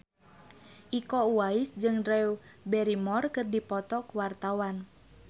Iko Uwais jeung Drew Barrymore keur dipoto ku wartawan